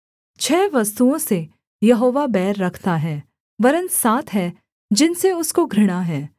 छः वस्तुओं से यहोवा बैर रखता है वरन् सात हैं जिनसे उसको घृणा है